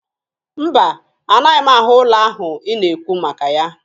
Mba, anaghị m ahụ ụlọ ahụ ị na-ekwu maka ya